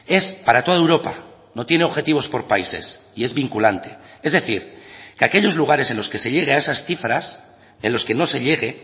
es para toda europa no tiene objetivos por países y es vinculante es decir que aquellos lugares en los que se llegue a esas cifras en los que no se llegue